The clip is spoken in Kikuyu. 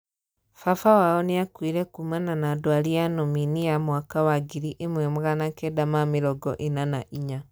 Babawao niakuire kumana na dwari ya nominia mwaka wa ngiri imwe na magana kenda na mĩrongo ena na inya.